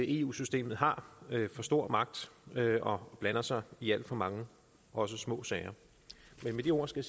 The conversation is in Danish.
eu systemet har for stor magt og blander sig i alt for mange også små sager med de ord skal